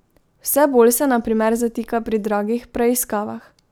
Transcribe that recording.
Vse bolj se na primer zatika pri dragih preiskavah.